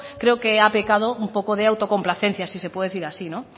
creo que ha pecado un poco de autocomplacencia si se puede decir así